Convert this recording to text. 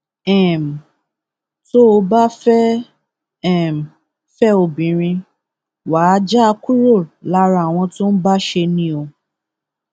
um tó o bá fẹẹ um fẹ obìnrin wa á já a kúrò lára àwọn tó ń bá ṣẹ ni o